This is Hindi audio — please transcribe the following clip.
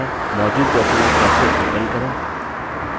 मौजूद document कैसे open करें